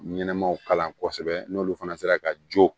Ɲɛnɛmaw kalan kosɛbɛ n'olu fana sera ka jo